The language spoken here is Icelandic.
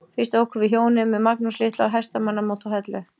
Fyrst ókum við hjónin með Magnús litla á hestamannamót á Hellu.